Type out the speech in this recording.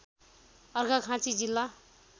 अर्घाखाँची जिल्ला